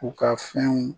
U ka fɛnw